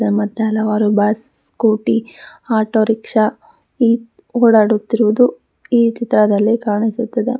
ಮತ್ತೆ ಹಲವಾರು bus scooty auto rickshaw ಈ ಓಡಾಡುತ್ತಿರುವುದು ಈ ಚಿತ್ರದಲ್ಲಿ ಕಾಣಿಸುತ್ತದೆ.